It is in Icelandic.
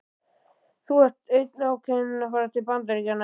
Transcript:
Þú ert enn ákveðin í að fara til Bandaríkjanna?